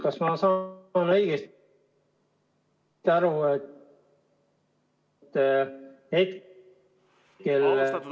Kas ma saan õigesti aru, et hetkel ......